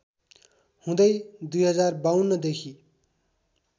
हुँदै २०५२ देखि